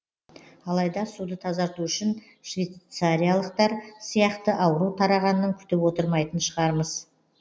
алайда суды тазарту үшін швейцариялықтар сияқты ауру тарағанын күтіп отырмайтын шығармыз